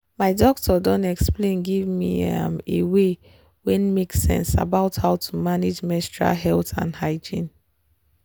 my doctor doh explain give me e a way wen make sense about how to manage menstrual health and hygiene.